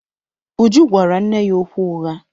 Uju gwara nne ya okwu ụgha.